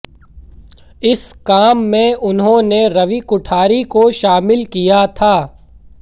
इस काम में उन्होंने रवि कुठारी को शामिल किया था